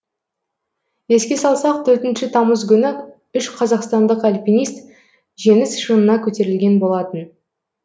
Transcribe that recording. еске салсақ төртінші тамыз күні үш қазақстандық альпинист жеңіс шыңына көтерілген болатын